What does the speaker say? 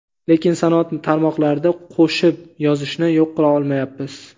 lekin sanoat tarmoqlarida qo‘shib yozishni yo‘q qilolmayapmiz.